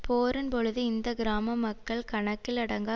போரின்பொழுது இந்த கிராம மக்கள் கணக்கிலடங்கா